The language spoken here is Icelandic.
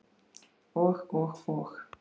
Og, og og.